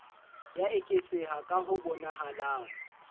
ya eketseha ka ho bonahalang